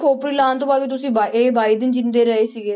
ਖੋਪੜੀ ਲਾਹੁੁਣ ਤੋਂ ਬਾਅਦ ਵੀ ਤੁਸੀਂ ਬਾ~ ਇਹ ਬਾਈ ਦਿਨ ਜ਼ਿੰਦੇ ਰਹੇ ਸੀਗੇ।